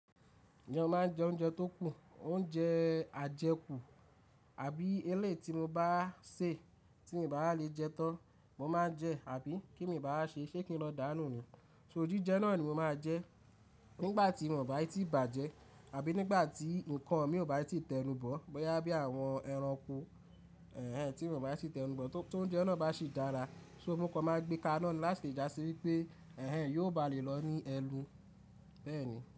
Ìjẹ́ o máa ń jẹ oúnjẹ tó kù, oúnjẹ ajẹkù àbí eléyìí tí mo bá sè tí mi bá wà lè jẹ tán, but mo máa ń jẹ àbí kí ní mi n bá wa ṣe ṣé kí n lọ dànù ni, so jìjẹ́ náà ni mo máa jẹ nígbà tí wọ́n bá ti bàjẹ́ àbí nígbà tí nǹkan mi ò bá ti tẹnu bọ̀, bóyá bí àwọn ẹranko tí wọn tíì tẹnu bọ̀, tí oúnjẹ ná bá sì dára, so mo kàn ma gbéka iná ni, láti lè jásí wípé ẹhen yóò bá lè lọ ní ẹnu bẹ́ẹ̀ ni.